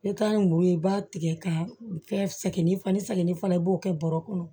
I ka muru i b'a tigɛ k'a kɛ sɛgɛn ni fana sɛgɛnni fana ye i b'o kɛ bɔrɔ kɔnɔ